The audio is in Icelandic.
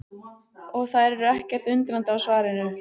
Og þær eru ekkert undrandi á svarinu.